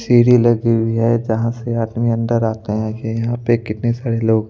सीरी लगी हुई है जहां से आदमी अन्दर आते है यहां पे कितने सारे लोग--